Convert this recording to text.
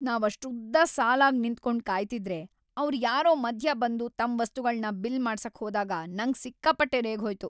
ನಾವಷ್ಟುದ್ದ ಸಾಲಾಗ್‌ ನಿಂತ್ಕೊಂಡ್‌ ಕಾಯ್ತಿದ್ರೆ ಅವ್ರ್‌ ಯಾರೋ ಮಧ್ಯ ಬಂದು ತಮ್‌ ವಸ್ತುಗಳ್ನ ಬಿಲ್‌ ಮಾಡ್ಸಕ್‌ ಹೋದಾಗ ನಂಗ್‌ ಸಿಕ್ಕಾಪಟ್ಟೆ ರೇಗ್ಹೋಯ್ತು.